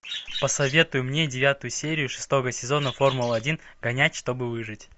посоветуй мне девятую серию шестого сезона формула один гонять чтобы выжить